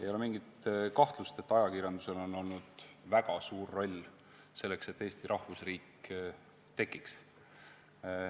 Ei ole mingit kahtlust, et ajakirjandusel oli väga suur roll selles, et Eesti rahvusriik tekkis.